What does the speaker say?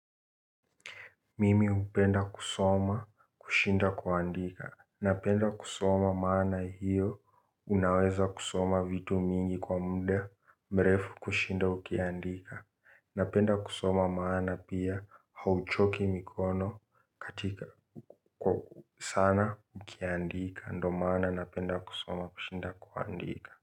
Mimi hupenda kusoma kushinda kuandika. Napenda kusoma maana hiyo unaweza kusoma vitu mingi kwa muda mrefu kushinda ukiandika. Napenda kusoma maana pia hauchoki mikono katika sana ukiandika ndo maana napenda kusoma kushinda kuandika.